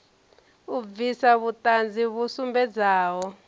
u bvisa vhuṱanzi vhu sumbedzaho